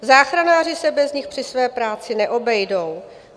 Záchranáři se bez nich při své práci neobejdou.